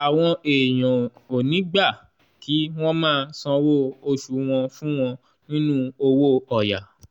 àwọn èèyàn ò ní gbà kí wọ́n máa sanwó oṣù wọn fún wọn nínú owó ọ̀yà.